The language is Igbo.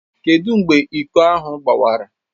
Kedụ mgbe iko ahụ gbawara?